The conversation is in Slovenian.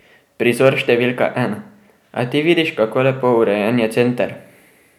Prizor številka ena: "A ti vidiš, kako lepo urejen je center?